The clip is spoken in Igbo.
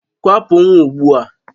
Kwapụ nwa ugbu a!